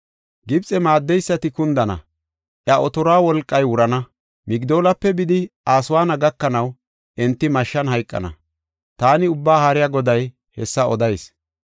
Gibxe maaddeysati kundana; iya otoruwa wolqay wurana. Migdoolape bidi Aswaana gakanaw, enti mashshan hayqana. Taani Ubbaa Haariya Goday hessa odayis.